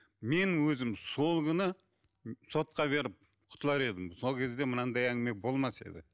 мен өзім сол күні сотқа беріп құтылар едім сол кезде мынандай әңгіме болмас еді